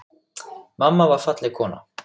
Mamma var falleg kona.